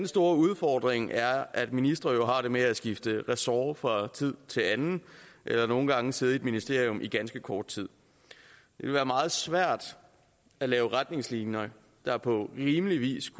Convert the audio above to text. store udfordring er at ministre jo har det med at skifte ressort fra tid til anden eller nogle gange sidde i et ministerium i ganske kort tid det ville være meget svært at lave retningslinjer der på rimelig vis